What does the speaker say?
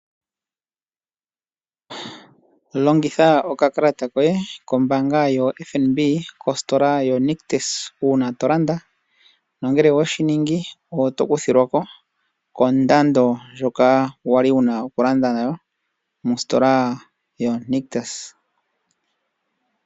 Longitha okakalata koye kombaanga yoFNB kositola yoNictus uuna to landa nongele owe shi ningi oto kuthilwa ko kondando ndjoka wu na okulanda nayo mositola yoNictus.